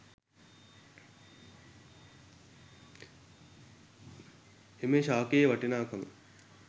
එම ශාඛයේ වටිනාකම